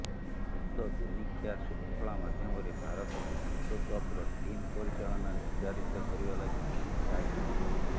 ଗତ ଦିନିକିଆ ଶୃଙ୍ଖଳା ମାଧ୍ୟମରେ ଭାରତକୁ ବିଶ୍ୱକପ୍ର ଟିମ୍ ପରିଚାଳନା ନିର୍ଦ୍ଧାରିତ କରିବା ଲାଗି ସାହାଯ୍ୟ ମିଳିଛି